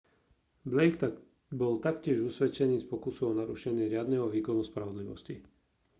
blake bol taktiež usvedčený z pokusu o narušenie riadneho výkonu spravodlivosti